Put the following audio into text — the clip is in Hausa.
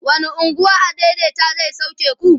wani unguwa adaidaita zai sauke ku?